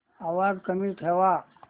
आवाज कमी ठेवा